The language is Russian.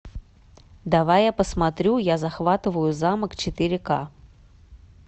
давай я посмотрю я захватываю замок четыре ка